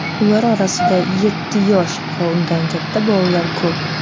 Ular orasida yetti yosh va undan katta bolalar ko‘p.